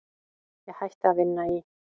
Ég hætti að vinna í